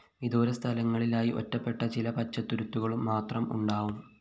വിദൂരങ്ങളിലായി ഒറ്റപ്പെട്ട ചില പച്ചത്തുരുത്തുകള്‍ മാത്രം ഉണ്ടാവും